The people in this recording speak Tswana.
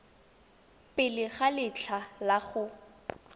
pele ga letlha la go